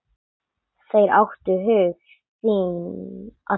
Þeir áttu hug þinn allan.